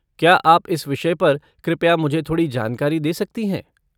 क्या आप इस विषय पर कृपया मुझे थोड़ी जानकारी दे सकती हैं?